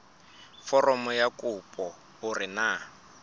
foromong ya kopo hore na